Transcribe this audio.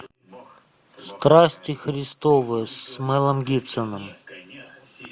страсти христовы с мэлом гибсоном